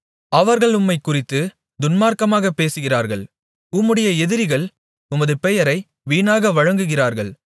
அவர்கள் உம்மைக் குறித்துத் துன்மார்க்கமாகப் பேசுகிறார்கள் உம்முடைய எதிரிகள் உமது பெயரை வீணாக வழங்குகிறார்கள்